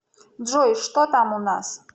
джой что там у нас